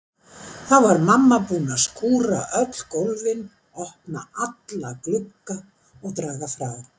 Þá var mamma búin að skúra öll gólfin, opna alla glugga og draga frá.